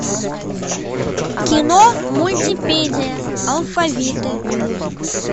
кино мультипедия алфавиты